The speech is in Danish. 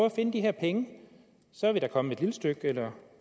at finde de her penge så er vi da kommet et lille stykke eller